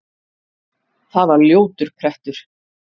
Það var ljótur prettur.